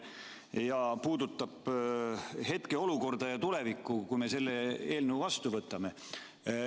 See puudutab hetkeolukorda ja tulevikku, kui me selle eelnõu vastu võtame.